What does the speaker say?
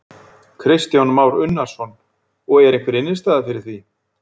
Kristján Már Unnarsson: Og er einhver innistæða fyrir því?